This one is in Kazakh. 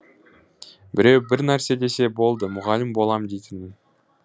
біреу бірнәрсе десе болды мұғалім болам дейтінмін